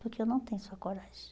Porque eu não tenho sua coragem.